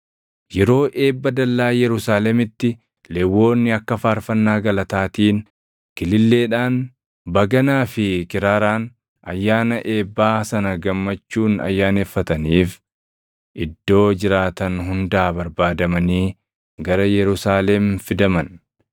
Yeroo eebba dallaa Yerusaalemitti Lewwonni akka faarfannaa galataatiin, kililleedhaan, baganaa fi kiraaraan ayyaana eebbaa sana gammachuun ayyaaneffataniif iddoo jiraatan hundaa barbaadamanii gara Yerusaalem fidaman.